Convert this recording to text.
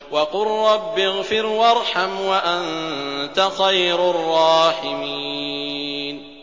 وَقُل رَّبِّ اغْفِرْ وَارْحَمْ وَأَنتَ خَيْرُ الرَّاحِمِينَ